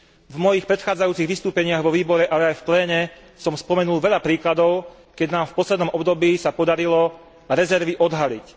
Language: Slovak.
V mojich predchádzajúcich vystúpeniach vo výbore, ale aj v pléne som spomenul veľa príkladov, keď nám v poslednom období sa podarilo rezervy odhaliť.